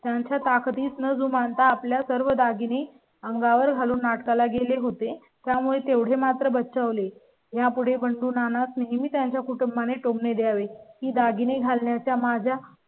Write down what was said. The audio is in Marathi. त्यांच्या ताकदीत न जुमानता आपल्या सर्व दागिने अंगावर घालून नाटका ला गेले होते. त्यामुळे तेवढे मात्र बचावले. यापुढे बंडू नाना च़ं नाही. मी त्यांच्या कुटुंबा ने टोमणे द्यावे ही दागिने घालण्या च्या माझ्या